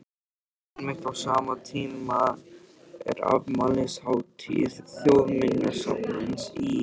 Einmitt á sama tíma er afmælishátíð Þjóðminjasafnsins í